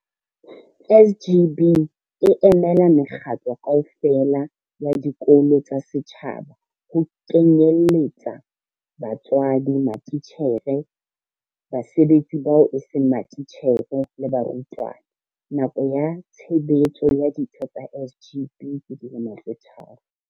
SGB e emela mekgatlo kaofela ya dikolo tsa setjhaba, ho kenyelletsa batswadi, matitjhere, basebetsi bao eseng matitjhere le barutwana. Nako ya tshebetso ya ditho tsa SGB ke dilemo tse tharo.